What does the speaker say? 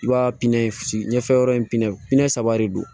I b'a pinn ɲɛfɛ yɔrɔ in na pinɛ saba de don